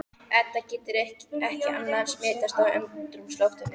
Edda getur ekki annað en smitast af andrúmsloftinu.